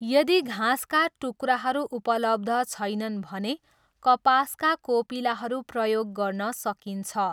यदि घाँसका टुक्राहरू उपलब्ध छैनन् भने कपासका कोपिलाहरू प्रयोग गर्न सकिन्छ।